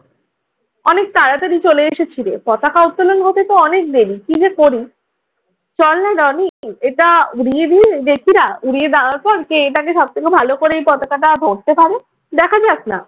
অনেক তাড়াতাড়ি চলে এসেছিল, পতাকা উত্তোলন হতেতো অনেক দেরি। কি যে করি? চল না রনি, এটা উড়িয়ে দিয়ে দেখি না উড়িয়ে দেওয়ার পর কে এটাকে সব থেকে ভালো করে এ পতাকাটা ধরতে পারে। দেখা যাক না্